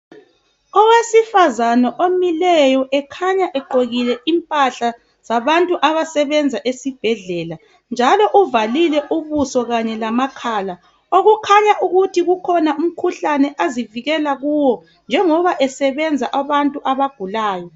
Owesifazana omileyo ekhanya egqokile impahla zabantu abasebenza esibhedlela njalo uvalile ubuso kanye lamakhala, okukhanya ukuthi ukhona umkhuhlane azivikela kiwo njengoba esebenza abantu abagulayo.